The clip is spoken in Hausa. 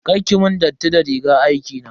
Kar ki mun datti da rigar aikina.